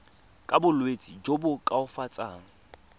ka bolwetsi jo bo koafatsang